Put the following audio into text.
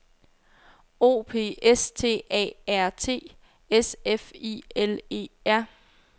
O P S T A R T S F I L E R